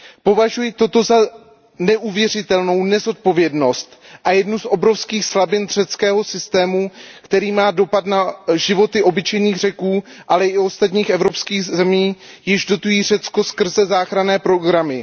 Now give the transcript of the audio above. Považuji toto za neuvěřitelnou nezodpovědnost a jednu z obrovských slabin řeckého systému, která má dopad na životy obyčejných Řeků, ale i ostatních evropských zemí, jež Řecko dotují skrze záchranné programy.